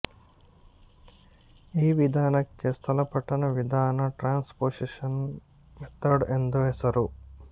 ಈ ವಿಧಾನಕ್ಕೆ ಸ್ಥಳಪಲ್ಲಟನ ವಿಧಾನ ಟ್ರಾನ್ಸ್ ಪೊಸಿಷನ್ ಮೆಥಡ್ ಎಂದು ಹೆಸರು